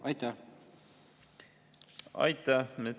Aitäh!